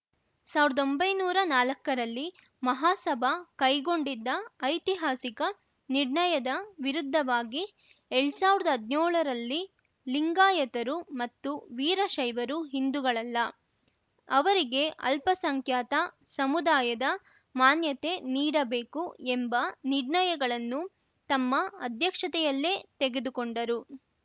ಸಾವಿರ್ದೊಂಬಯ್ಯನೂರಾ ನಾಲಕ್ಕರಲ್ಲಿ ಮಹಾಸಭಾ ಕೈಗೊಂಡಿದ್ದ ಐತಿಹಾಸಿಕ ನಿರ್ಣಯದ ವಿರುದ್ಧವಾಗಿ ಎಲ್ಡ್ ಸಾವಿರ್ದ್ ಹದ್ನ್ಯೋಳ್ ರಲ್ಲಿ ಲಿಂಗಾಯತರು ಮತ್ತು ವೀರಶೈವರು ಹಿಂದೂಗಳಲ್ಲ ಅವರಿಗೆ ಅಲ್ಪಸಂಖ್ಯಾತ ಸಮುದಾಯದ ಮಾನ್ಯತೆ ನೀಡಬೇಕು ಎಂಬ ನಿರ್ಣಯಗಳನ್ನು ತಮ್ಮ ಅಧ್ಯಕ್ಷತೆಯಲ್ಲೇ ತೆಗೆದುಕೊಂಡರು